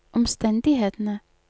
omstendighetene